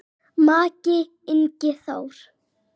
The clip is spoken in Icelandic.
Maki, Ingi Þór.